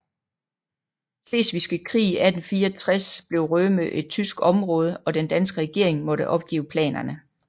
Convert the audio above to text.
Slesvigske Krig 1864 blev Rømø et tysk område og den danske regering måtte opgive planerne